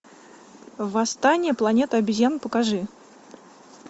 восстание планеты обезьян покажи